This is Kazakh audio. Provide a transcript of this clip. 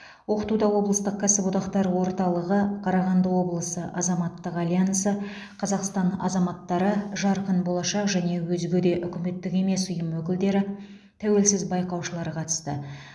оқытуда облыстық кәсіподақтар орталығы қарағанды облысы азаматтық альянсы қазақстан азаматтары жарқын болашақ және өзге де үкіметтік емес ұйым өкілдері тәуелсіз байқаушылар қатысты